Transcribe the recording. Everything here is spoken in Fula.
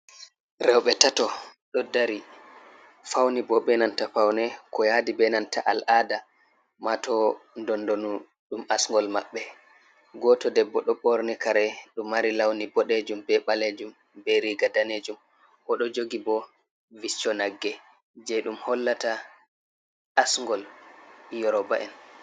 Rewɓe tato ɗo dari fauni bo, be nanta faune ko yadi be nanta al'ada mato ndondonu ɗum asngol mabɓe, goto debbo ɗo ɓorni kare ɗum mari launi boɗejum be ɓalejum, be riga danejum oɗo jogi bo viccho nagge je ɗum hollata asngol yuroba’en.